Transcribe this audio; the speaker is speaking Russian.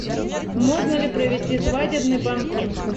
можно ли провести свадебный банкет